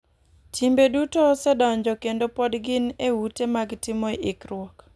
Timbe duto osedonjo kendo pod gin e ute mag timo ikruok.